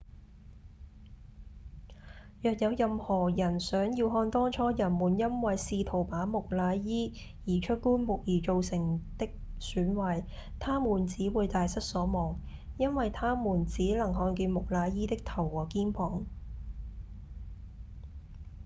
若有任何人想要看當初人們因為試圖把木乃伊移出棺木而造成的損壞他們只會大失所望因為他們只能看見木乃伊的頭和肩膀